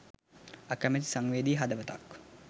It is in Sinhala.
අකමැති සංවේදී හදවතක්